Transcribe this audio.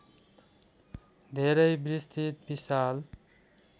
धेरै विस्तृत विशाल